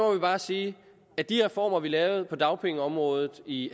vi bare sige at de reformer vi lavede på dagpengeområdet i